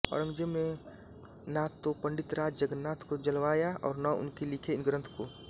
औरंज़ेब ने ना तो पंडितराज जगन्नाथ को जलवाया और न उनके लिखे इन ग्रंथों को